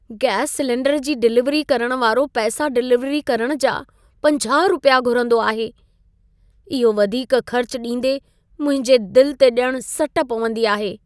Gas cylinder जी delivery करण वारो पैसा डिलीवरी करण जा 50 रुपिया घुरंदो आहे। इहो वधीक ख़र्च ॾींदे मुंहिंजे दिल ते ॼणु सट पवंदी आहे।